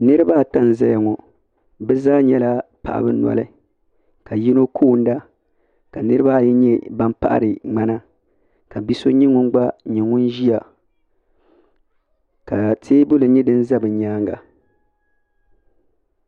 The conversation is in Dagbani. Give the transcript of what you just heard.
Niriba ata n zaya ŋɔ bɛ zaa nyɛla paɣaba noli ka yino koona ka niriba ayi nyɛ ban paɣari ŋmana ka bia so gba nyɛ ŋun kuriya ka teebuli nyɛ din za bɛ nyaanga.